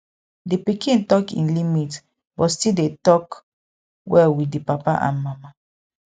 di pikin talk im limit but still dey talk well with di papa and mama